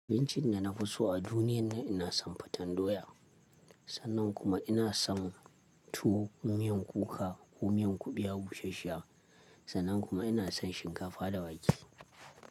Abincin da na fi so a duniyan nan, ina son faten doya. Sannan kuma ina son tuwo, miyan kuka ko miyan kuɓewa bushash-shiya. Sannan kuma ina son shinkafa da wake.